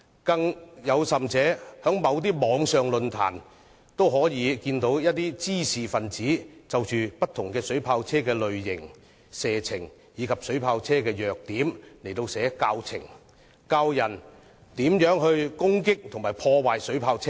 更甚者，在某些網上論壇中，一些滋事分子就着不同水炮車的類型、射程和弱點編寫教程，教導別人如何攻擊及破壞水炮車。